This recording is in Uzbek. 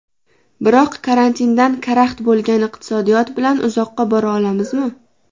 Biroq karantindan karaxt bo‘lgan iqtisodiyot bilan uzoqqa bora olamizmi?